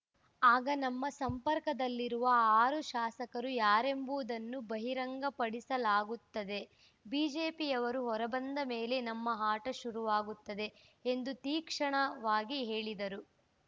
ಆಗ ನಮ್ಮ ಸಂಪರ್ಕದಲ್ಲಿರುವ ಆರು ಶಾಸಕರು ಯಾರೆಂಬುವುದನ್ನು ಬಹಿರಂಗಪಡಿಸಲಾಗುತ್ತದೆ ಬಿಜೆಪಿಯವರು ಹೊರಬಂದ ಮೇಲೆ ನಮ್ಮ ಆಟ ಶುರುವಾಗುತ್ತದೆ ಎಂದು ತೀಕ್ಷ್ಣವಾಗಿ ಹೇಳಿದರು